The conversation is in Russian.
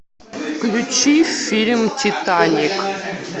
включи фильм титаник